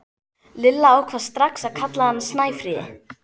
Lilla ákvað strax að kalla hana Snæfríði.